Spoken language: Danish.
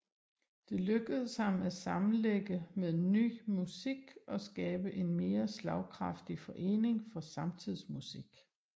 Det lykkedes ham at sammenlægge med Ny Musik og skabe en mere slagkraftig forening for samtidsmusik